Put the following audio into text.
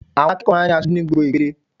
Àwọn akẹ́kọ̀ọ́ máa ń ní asojú ní gbogbo ìpele